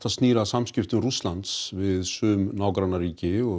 snýr að samskiptum Rússlands við sum nágrannaríki og